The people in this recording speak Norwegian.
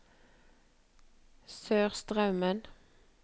Sørstraumen